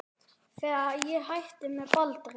Þegar ég hætti með Baldri.